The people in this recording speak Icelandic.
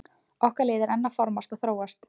Okkar lið er enn að formast og þróast.